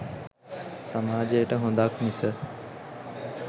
සමාජයට හොඳක්‌ මිස